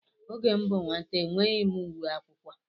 Oge m bụ nwata enweghị m uwe akwụkwọ.